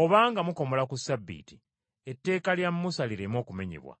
Obanga mukomola ku Ssabbiiti etteeka lya Musa lireme okumenyebwa,